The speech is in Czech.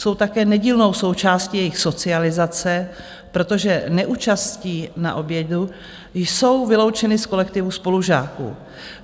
Jsou také nedílnou součástí jejich socializace, protože neúčastí na obědě jsou vyloučeny z kolektivu spolužáků.